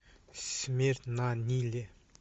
смерть на ниле